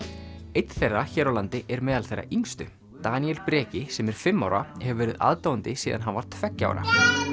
einn þeirra hér á landi er meðal þeirra yngstu Daníel Breki sem er fimm ára hefur verið aðdáandi síðan hann var tveggja ára